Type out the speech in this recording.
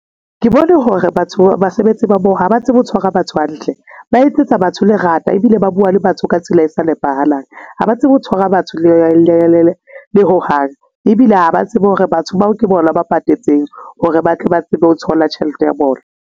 Ke bone hore batho basebetsi ba moo ha ba tsebe ho tshwara batho hantle, ba etsetsa batho le rata ebile ba bua le batho ka tsela e sa nepahalang. Ha ba tsebe ho tshwara batho le ho hang ebile ha ba tsebe hore batho bao ke bona ba patetseng hore ba tle ba tsebe ho thola tjhelete ya bona.